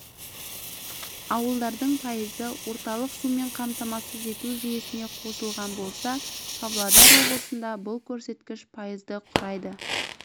ауылдардың пайызы орталық сумен қамтамасыз ету жүйесіне қосылған болса павлодар облысында бұл көрсеткіш пайызды құрайды